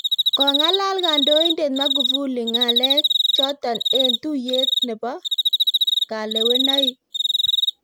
Konga�alal Kandoindet Magufuli nga�l chotok eng� tuiyet nebo kalewanaik